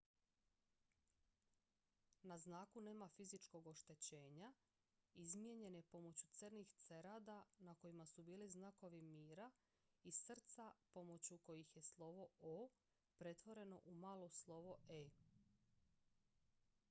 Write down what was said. "na znaku nema fizičkog oštećenja; izmijenjen je pomoću crnih cerada na kojima su bili znakovi mira i srca pomoću kojih je slovo "o" pretvoreno u malo slovo "e"".